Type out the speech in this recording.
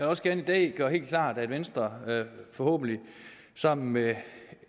også gerne i dag gøre helt klart at venstre forhåbentlig sammen med